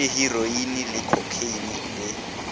le heroine le khokheine le